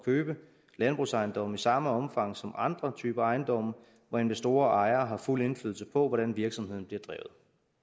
købe landbrugsejendomme i samme omfang som andre typer ejendomme hvor investorer og ejere har fuld indflydelse på hvordan virksomheden bliver drevet